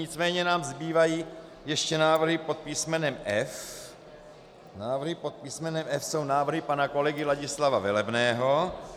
Nicméně nám zbývají ještě návrhy pod písmenem F. Návrhy pod písmenem F jsou návrhy pana kolegy Ladislava Velebného.